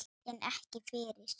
En ekki fyrr.